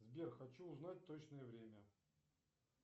сбер хочу узнать точное время